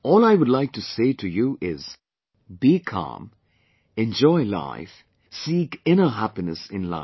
All I would like to say to you is 'Be calm, enjoy life, seek inner happiness in life